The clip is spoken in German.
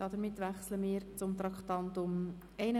Damit wechseln wir zum Traktandum 81.